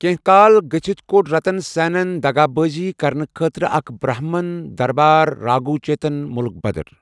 کیٚنٛہہ کال گٔژِھتھ، کوٚڑ رَتن سیٚنن دغا بٲزی کرنہٕ خٲطرٕ اَکھ برٛہمن دربٲرِ راگھو چیتن مٗلك بدر۔